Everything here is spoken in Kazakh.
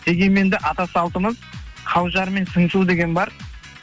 дегенмен де ата салтымыз қаужар мен сыңсу деген бар